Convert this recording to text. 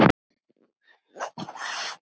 Hún er frjáls núna.